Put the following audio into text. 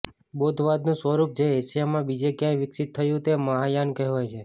બૌદ્ધવાદનું સ્વરૂપ જે એશિયામાં બીજે ક્યાંય વિકસિત થયું તે મહાયાન કહેવાય છે